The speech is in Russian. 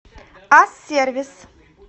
ас сервис